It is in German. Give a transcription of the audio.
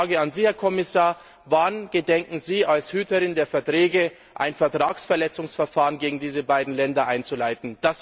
Das wäre eine Frage an Sie, Herr Kommissar Wann gedenkt die Kommission als Hüterin der Verträge ein Vertragsverletzungsverfahren gegen diese beiden Länder einzuleiten?